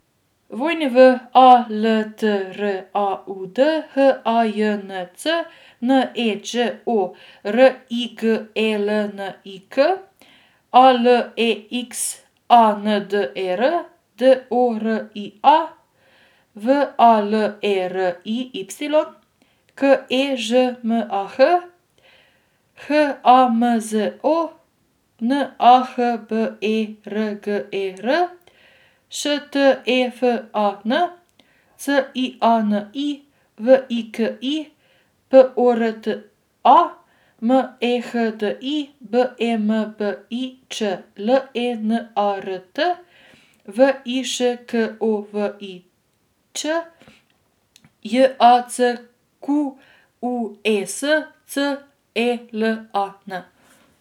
W A L T R A U D, H A J N C; N E Đ O, R I G E L N I K; A L E X A N D E R, D O R I A; V A L E R I Y, K E Ž M A H; H A M Z O, N A H B E R G E R; Š T E F A N, C I A N I; V I K I, P O R T A; M E H D I, B E M B I Č; L E N A R T, V I Š K O V I Ć; J A C Q U E S, C E L A N.